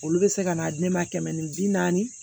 Olu bɛ se ka n'a di ne ma kɛmɛ ni bi naani